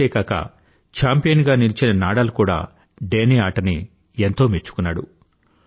ఇంతేకాక champion గా నిలిచిన Nadal కూడా డేనీ ఆటని ఎంతో మెచ్చుకున్నాడు